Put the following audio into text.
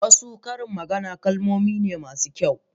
wasu karin magana ƙalamai ne masu kyau.